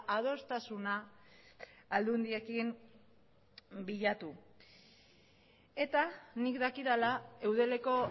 adostasuna aldundiekin bilatu eta nik dakidala eudeleko